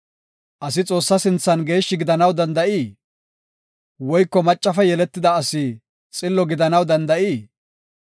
Asi Xoossa sinthan geeshshi gidanaw danda7ii? Woyko maccafe yeletida asi xillo gidanaw danda7ii?